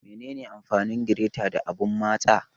Menene amfanin gireta da abun matsa?